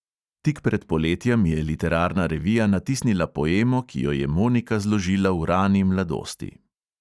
Tik pred poletjem je literarna revija natisnila poemo, ki jo je monika zložila v rani mladosti.